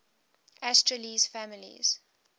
asterales families